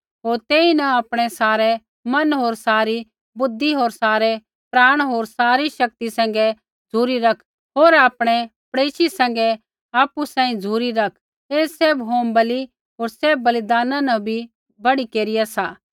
होर तेईन आपणै सारै मन होर सारी बुद्धि होर सारै प्राणा होर सारी शक्ति सैंघै झ़ुरी रैख होर आपणै पड़ेशी सैंघै आपु बराबर झ़ुरी रैख ऐ सैभ होमबलि होर सैभ बलिदाना न बी बड़कर सी